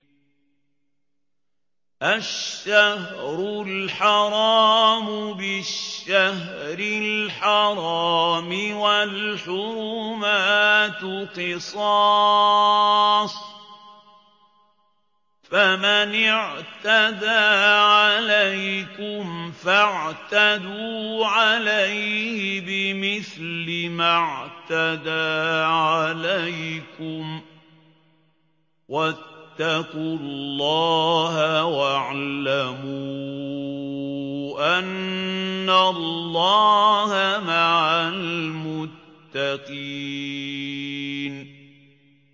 الشَّهْرُ الْحَرَامُ بِالشَّهْرِ الْحَرَامِ وَالْحُرُمَاتُ قِصَاصٌ ۚ فَمَنِ اعْتَدَىٰ عَلَيْكُمْ فَاعْتَدُوا عَلَيْهِ بِمِثْلِ مَا اعْتَدَىٰ عَلَيْكُمْ ۚ وَاتَّقُوا اللَّهَ وَاعْلَمُوا أَنَّ اللَّهَ مَعَ الْمُتَّقِينَ